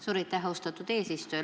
Suur aitäh, austatud eesistuja!